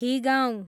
हिगाउँ